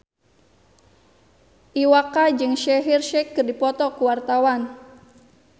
Iwa K jeung Shaheer Sheikh keur dipoto ku wartawan